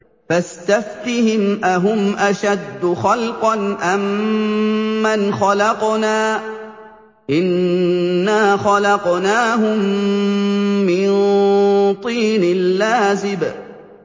فَاسْتَفْتِهِمْ أَهُمْ أَشَدُّ خَلْقًا أَم مَّنْ خَلَقْنَا ۚ إِنَّا خَلَقْنَاهُم مِّن طِينٍ لَّازِبٍ